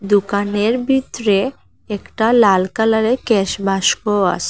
দোকানের বিতরে একটা লাল কালারের ক্যাশ বাস্ক আসে।